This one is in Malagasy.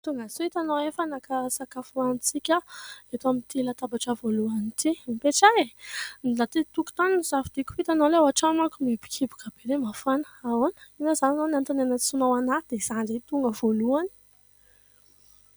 Tongasoa ! Hitanao, efa naka sakafo hohanintsika aho, eto amin'ity latabatra voalohany ity. Mipetraha e ! Ny aty an-tokotany no nosafidiako, fa hitanao, ilay ao an-trano manko mihibokiboka be dia mafana. Ahoana ? Inona izany izao no antony niantsoanao ahy, dia izaho indray tonga voalohany ?